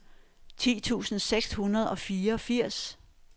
ti tusind seks hundrede og fireogfirs